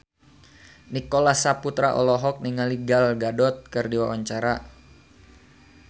Nicholas Saputra olohok ningali Gal Gadot keur diwawancara